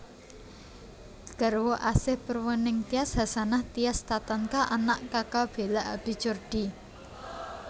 Garwa Asih Purwaningtyas Hasanah Tias Tatanka Anak Kaka Bela Abi Jordi